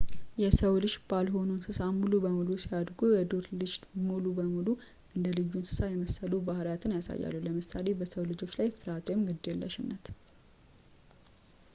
የሰው-ልጅ ባልሆኑ እንስሳት ሙሉ በሙሉ ሲያድጉ ፣ የዱር ልጅ ሙሉ በሙሉ እንደ ልዩ እንሰሳት የመሰሉ ባህሪያትን ያሳያል ለምሳሌ በሰው ልጆች ላይ ፍርሃት ወይም ግዴለሽነት